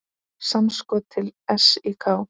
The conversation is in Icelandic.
Samskot til SÍK.